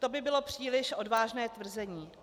To by bylo příliš odvážné tvrzení.